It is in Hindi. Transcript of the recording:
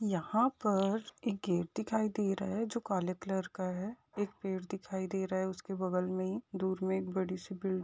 यहाँ पर एक गेट दिखाई दे रहा हैं जो काले कलर का हैं एक पेड़ दिखाई दे रहा हैं उसके बगल में दूर में एक बड़ी सी बिल --